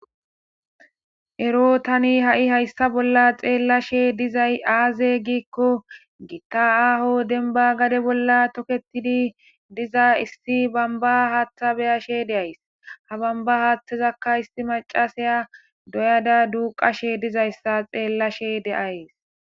Ero tani ha7i hayssa bolla xeellashe dizay aaze giikko gitta aaho denba gade bolla toketidi diza issi bamba haaththa beyashe deays ha bamba haaththezakka isti macasaya doyada duuqashe dizayssa xeellashe de7ays.